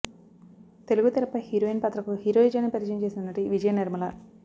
తెలుగు తెరపై హీరోయిన్ పాత్రకు హీరోయిజాన్ని పరిచయం చేసిన నటి విజయనిర్మల